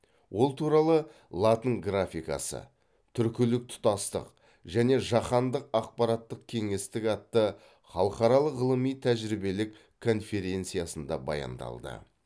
ол туралы латын графикасы түркілік тұтастық және жаһандық ақпараттық кеңістік атты халықаралық ғылыми тәжірибелік конференциясында баяндалды